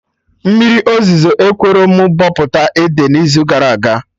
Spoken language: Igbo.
Mmiri ozuzo ekwerọ mụ bọpụta ede n'izu gara aga